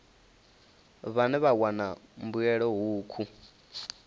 vhane vha wana mbuelo hukhu